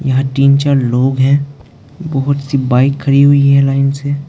यहाँ तीन चार लोग हैं बहोत सी बाइक खड़ी हुई हैं लाइन से।